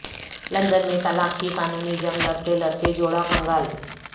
London میں طلاق کی قانونی جنگ لڑتے لڑتے جوڑا کنگال